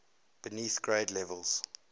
beneath grade levels